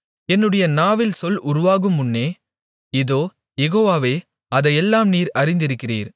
என்னுடைய நாவில் சொல் உருவாகுமுன்னே இதோ யெகோவாவே அதையெல்லாம் நீர் அறிந்திருக்கிறீர்